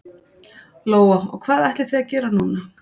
Lóa: Og hvað ætlið þið að gera núna?